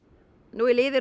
nú er liðið